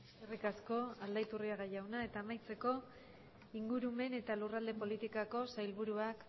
eskerrik asko aldaiturriaga jauna eta amaitzeko ingurumen eta lurralde politikako sailburuak